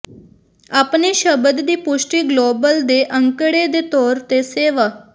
ਆਪਣੇ ਸ਼ਬਦ ਦੀ ਪੁਸ਼ਟੀ ਗਲੋਬਲ ਦੇ ਅੰਕੜੇ ਦੇ ਤੌਰ ਤੇ ਸੇਵਾ